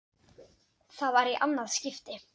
Það var í annað skipti.